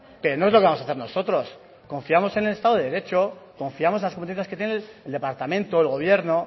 pero no es lo que vamos a hacer nosotros confiamos en el estado de derecho confiamos en las competencias que tiene el departamento el gobierno